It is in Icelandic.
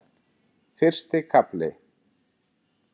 Fyrsti kafli